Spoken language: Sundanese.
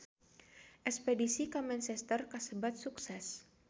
Espedisi ka Manchester kasebat sukses